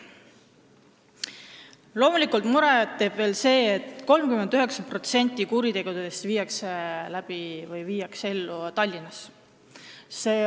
Loomulikult, muret teeb veel see, et 39% kuritegudest pannakse toime Tallinnas.